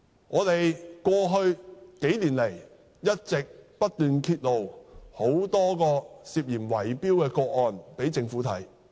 過去數年來，我們一直不斷揭露很多宗涉嫌圍標的個案，並促請政府檢視。